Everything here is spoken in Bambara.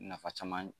Nafa caman